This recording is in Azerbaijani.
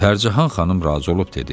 Fərcahan xanım razı olub dedi: